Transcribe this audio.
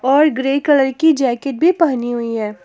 और grey colour कि jacket भी पहनी हुई है।